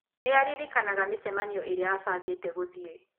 Nĩ aririkanaga mĩcemanio ĩrĩa aabangĩte gũthiĩ.